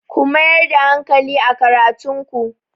Ku mayar da hankali a karatun ku!